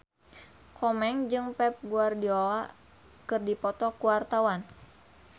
Komeng jeung Pep Guardiola keur dipoto ku wartawan